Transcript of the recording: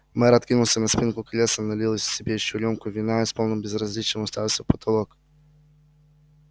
мэр откинулся на спинку кресла налил себе ещё рюмку вина и с полным безразличием уставился в потолок